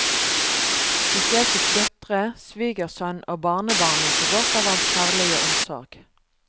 Spesielt fikk døtre, svigersønn og barnebarn nyte godt av hans kjærlige omsorg.